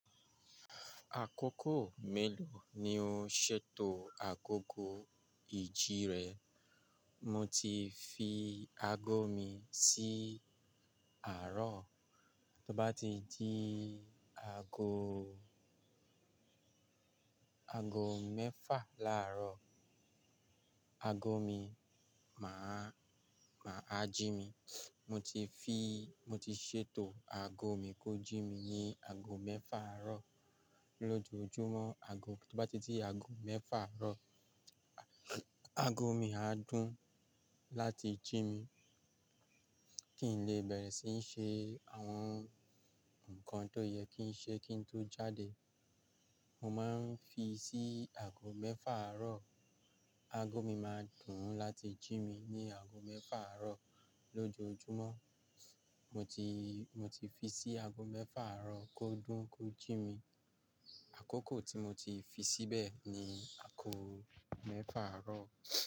Àkókò mélòó ni ó ń ṣètò agogo ìjí rẹ? Mo ti fi ago mi sí àárọ̀, tó bá ti dí ago, aago mẹ́fà láàárọ̀, aago mi máa, máa jí mi. Mo ti fi, mo ti ṣètò ago mi kó jí mi ní ago mẹ́fà àárọ̀ lójoojúmọ́. Ago, tó bá ti dí ago mẹ́fà àárọ̀, ago mi á dùn láti jí mi kí n lè bẹ̀rẹ̀ síí ṣe àwọn nǹkan tó yẹ kí n ṣe kí n tó jáde. Mo máa ń fi sí aago mẹ́fà àárọ̀, aago mi máa dùn láti jí mi ní aago mẹ́fà àárọ̀ lójoojúmọ́. Mo ti, mo ti fi sí ago mẹ́fà àárọ̀ kó dùn kó jí mi. Àkókò tí mo ti fi síbẹ̀ ni àkókò mẹ́fà àárọ̀.